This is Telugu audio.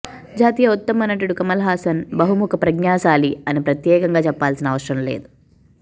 జాతీయ ఉత్తమ నటుడు కమల్ హసన్ బహుముఖ ప్రజ్ఞాశాలి అని ప్రత్యేకంగా చెప్పాల్సిన అవసరం లేదు